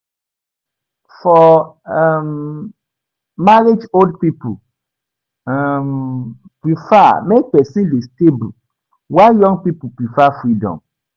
For [um]marriage old pipo um prefer make persin de stable while young pipo prefer freedom